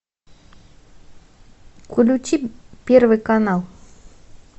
включи первый канал